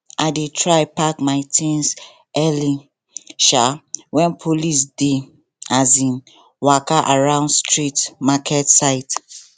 i dey try pack my things early um when police dey um waka around street market side